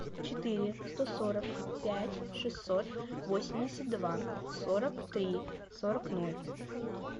четыре сто сорок пять шестьсот восемьдесят два сорок три сорок ноль